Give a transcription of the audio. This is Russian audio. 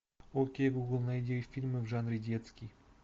окей гугл найди фильмы в жанре детский